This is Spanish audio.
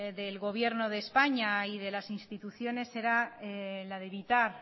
del gobierno de españa y de las instituciones era la de evitar